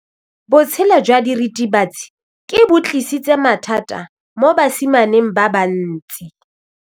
Botshelo jwa diritibatsi ke bo tlisitse mathata mo basimaneng ba bantsi.